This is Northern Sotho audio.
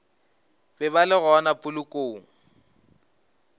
be ba le gona polokong